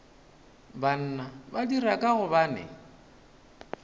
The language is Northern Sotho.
banna ba dira ka gobane